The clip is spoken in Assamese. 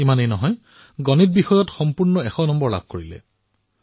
এয়াই নহয় তেওঁ গণিতত এশ শতাংশ নম্বৰ লাভ কৰিলে